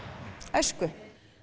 æsku